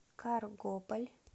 каргополь